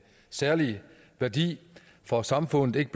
særlig værdi for samfundet ikke